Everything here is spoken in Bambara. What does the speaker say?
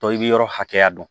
i bɛ yɔrɔ hakɛya dɔn